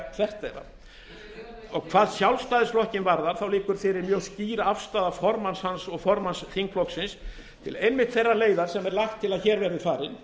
hvert þeirra hvað sjálfstæðisflokkinn varðar liggur fyrir mjög skýr afstaða formanns hans og formanns þingflokksins til einmitt þeirrar leiðar sem er lagt til að hér verði farin